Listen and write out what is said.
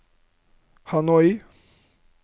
Hanoi